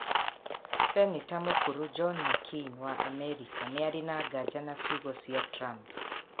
Seneta mũkũrũ John McCain wa Amerika nĩ arĩ na nganja na ciugo cia Trump.